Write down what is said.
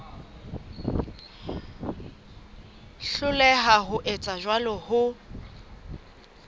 hloleha ho etsa jwalo ho